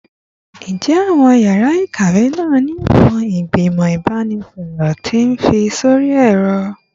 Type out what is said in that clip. Njẹ awọn yara ikawe naa ni awọn igbimọ ibanisọrọ ti fi sori ẹrọ?